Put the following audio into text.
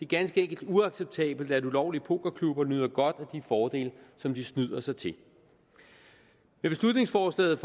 ganske enkelt uacceptabelt at ulovlige pokerklubber nyder godt af de fordele som de snyder sig til i beslutningsforslaget